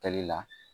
Kɛli la